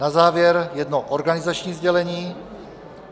Na závěr jedno organizační sdělení.